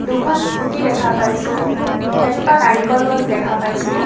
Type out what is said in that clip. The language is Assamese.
দুখন স্কুটী দেখা পাইছোঁ এজোপা নাৰিকল গছ দেখা পাইছোঁ।